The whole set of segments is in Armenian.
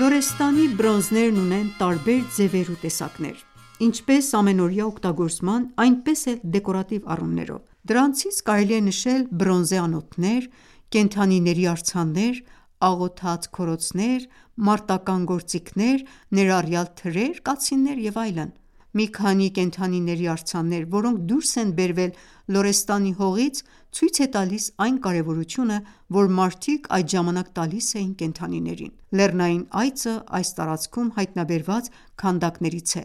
Լորեստանի բրոնզերն ունեն տարբեր ձևեր ու տեսակներ, ինչպես ամենօրյա օգտագործման, այնպես էլ դեկորատիվ առումներով: Դրանցից կարելի է նշել բրոնզե անոթներ, կենդանիների արձաններ, աղոթած քորոցներ, մարտական գործիքներ, ներառյալ թրեր, կացիններ և այլն։ Մի քանի կենդանիների արձաններ, որոնք դուրս են բերվել Լորեստանի հողից ցույց է տալիս այն կարևորությունը, որ մարդիկ այդ ժամանակ տալիս էին կենդանիներին։ «Լեռնային այծը» այս տարածքում հայտնաբերված քանդակներից է։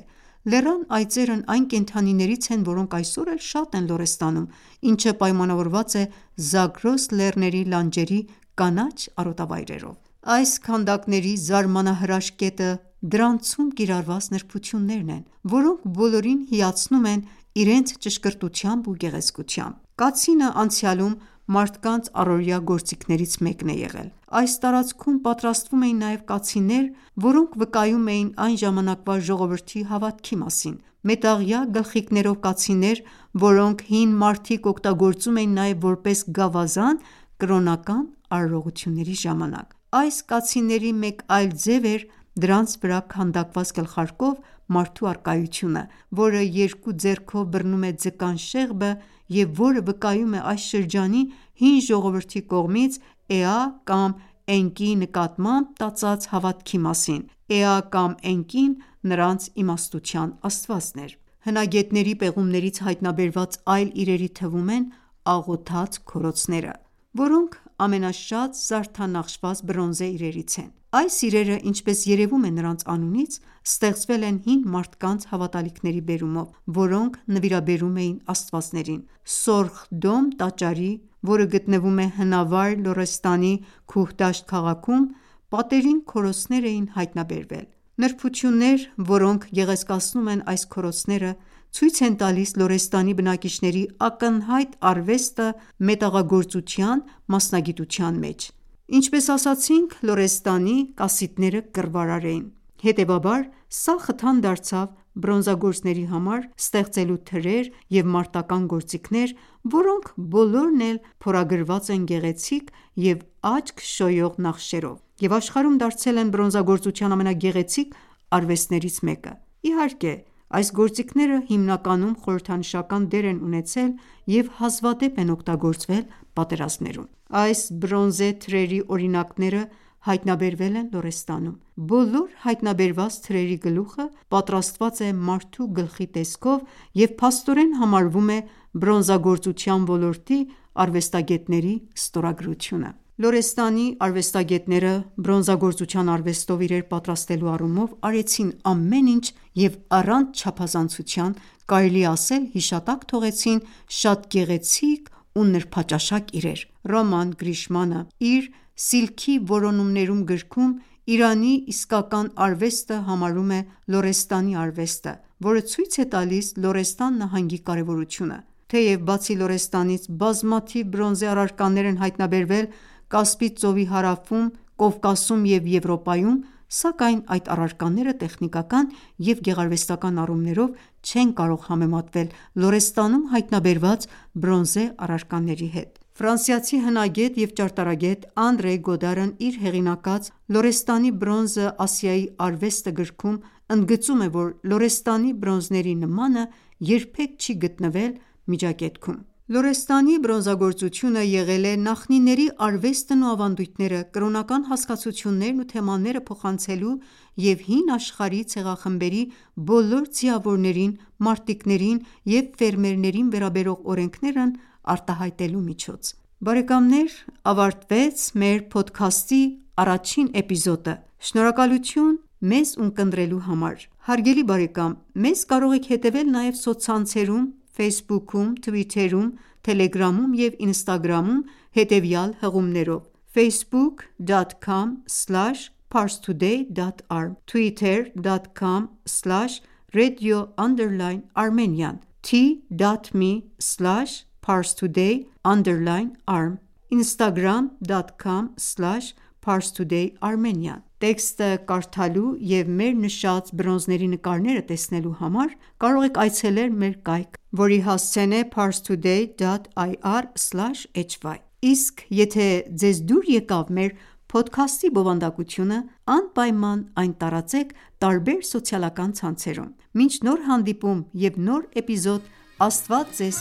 Լեռան այծերն այն կենդանիներից են, որոնք այսօր էլ շատ են Լորեստանում, ինչը պայմանավորված է Զագրոս լեռների լանջերի կանաչ արոտավայրերով։ Այս քանդակների զարմանահրաշ կետը դրանցում կիրառված նրբություններն են, որոնք բոլորին հիացնում են իրենց ճշգրտությամբ ու գեղեցկությամբ: Կացինը անցյալում մարդկանց առօրյա գործիքներից մեկն է եղել։ Այս տարածքում պատրաստվում էին նաև կացիններ, որոնք վկայում էին այն ժամանակվա ժողովրդի հավատքի մասին։ Մետաղյա գլխիկներով կացիններ, որոնք հին մարդիկ օգտագործում էին նաև որպես գավազան կրոնական արարողությունների ժամանակ։ Այս կացինների մեկ այլ ձև էր դրանց վրա քանդակված գլխարկով մարդու առկայությունը, որը երկու ձեռքով բռնում է ձկան շեղբը, և որը վկայում է այս շրջանի հին ժողովրդի կողմից «Էա» կամ «Էնկի»-ի նկատմամբ տածած հավատքի մասին։ Էա կամ Էնկին նրանց իմաստության աստվածն էր։ Հնագետների պեղումներից հայտնաբերված այլ իրերի թվում են աղոթած քորոցները, որոնք ամենաշատ զարդանախշված բրոնզե իրերից են։ Այս իրերը, ինչպես երևում է նրանց անունից, ստեղծվել են հին մարդկանց հավատալիքների բերումով, որոնք նվիրաբերում էին աստվածներին։ «Սորխ Դոմ» տաճարի (հնավայր Լորեստանի Քուհդաշտ քաղաքում) պատերին քորոցներ են հայտնաբերվել։ Նրբությունները, որոնք գեղեցկացնում են այս քորոցները, ցույց են տալիս Լորեստանի բնակիչների ակնհայտ արվեստը «մետաղագործության» մասնագիտության մեջ։ Ինչպես ասացինք, Լորեստանի կասիտները կռվարար էին, հետևաբար, սա խթան դարձավ բրոնզագործների համար՝ ստեղծելու թրեր և մարտական գործիքներ, որոնք բոլորն էլ փորագրված են գեղեցիկ և աչք շոյող նախշերով և աշխարհում դարձել են բրոնզագործության ամենագեղեցիկ արվեստներից մեկը։ Իհարկե, այս գործիքները հիմնականում խորհրդանշական դեր են ունեցել և հազվադեպ են օգտագործվել պատերազմներում: Այս բրոնզե թրերի օրինակները հայտնաբերվել են Լորեստանում։ Բոլոր հայտնաբերված թրերի գլուխը պատրաստված է մարդու գլխի տեսքով և փաստորեն համարվում է բրոնզագործության ոլորտի արվեստագետների ստորագրությունը։ Լորեստանի արվեստագետները բրոնզագործության արվեստով իրեր պատրաստելու առումով արեցին ամեն ինչ և առանց չափազանցության կարելի է ասել հիշատակ թողեցին շատ գեղեցիկ ու նրբաճաշակ իրեր։ «Ռոման Գրիշմանը» իր «Սիլքի որոնումներում» գրքում Իրանի իսկական արվեստը համարում է Լորեստանի արվեստը, որը ցույց է տալիս Լորեստան նահանգի կարևորությունը։ Թեև, բացի Լորեստանից, բազմաթիվ բրոնզե առարկաներ են հայտնաբերվել Կասպից ծովի հարավում, Կովկասում և Եվրոպայում, սակայն այդ առարկաները տեխնիկական և գեղարվեստական առումներով չեն կարող համեմատվել Լորեստանում հայտնաբերված բրոնզե առարկաների հետ։ ֆրանսիացի հնագետ և ճարտարապգետ Անդրեյ Գոդարն իր հեղինակած «Լորեստանի բրոնզը. Ասիայի արվեստը» գրքում, ընդգծում է, որ Լորեստանի բրոնզերի նմանը երբեք չի գտնվել Միջագետքում։ Լորեստանի բրոնզագործությունը եղել է նախնիների արվեստն ու ավանդույթները, կրոնական հասկացություններն ու թեմաները փոխանցելու և հին աշխարհի ցեղախմբերի բոլոր ձիավորներին, մարտիկներին և ֆերմերներին վերաբերող օրենքներն արտահայտելու միջոց: Ավարտվեց մեր փոդքասթի առաջին էպիզոդը։ Շնորհակալություն մեզ ունկնդրելու համար: Հարգելի բարեկամ մեզ կարող եք հետևել նաև սոցցանցերում Ֆեյսբուքում, թվիթերում, թելեգրամում և ինստագրամում, հետևյալ հղումներով՝ Տեքստը կարդալու և մեր նշած բրոնզերի նկարները տեսնելու համար կարող եք այցելել մեր կայք, որի հասցեն է՝ parstoday.ir/hy: Իսկ եթե ձեզ դուր եկավ մեր փոդքասթի բովանդակությունը, անպայման այն տարածեք տարբեր սոցիալական ցանցերում: Մինչ նոր հանդիպում և նոր էպիզոդ՝ Աստված Ձեզ